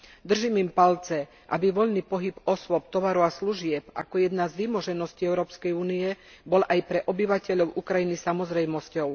Držím im palce, aby voľný pohyb osôb, tovaru a služieb ako jedna z vymoženosti Európskej únie bol aj pre obyvateľov Ukrajiny samozrejmosťou.